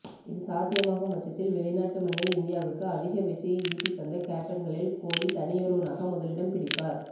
இது சாத்தியமாகும் பட்சத்தில் வெளிநாட்டு மண்ணில் இந்தியாவுக்கு அதிக வெற்றியை ஈட்டித் தந்த கேப்டன்களில் கோலி தனியொருவனாக முதலிடம் பிடிப்பார்